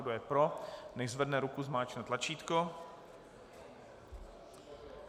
Kdo je pro, nechť zvedne ruku, zmáčkne tlačítko.